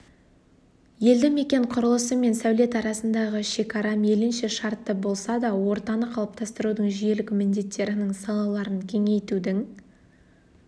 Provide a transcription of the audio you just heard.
елді мекен құрылысы мен сәулет арасындағы шекара мейлінше шартты болса да ортаны қалыптастырудың жүйелік міндеттерінің салаларын кеңейтудің